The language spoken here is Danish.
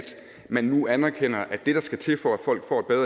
man nu anerkender at det der skal til for